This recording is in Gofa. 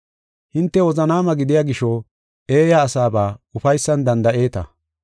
Hinte wozanaama gidiya gisho, eeya asaba ufaysan danda7eeta.